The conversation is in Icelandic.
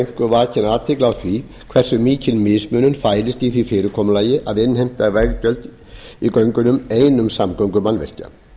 einkum vakin athygli á því hversu mikil mismunun fælist í því fyrirkomulagi að innheimta veggjöld í göngunum einum samgöngumannvirkja